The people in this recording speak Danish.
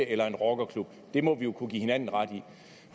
eller en rockerklub det må vi kunne give hinanden ret i